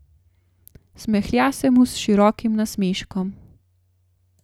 Smehlja se mu s širokim nasmeškom.